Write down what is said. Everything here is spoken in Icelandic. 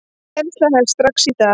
Kennsla hefst strax í dag.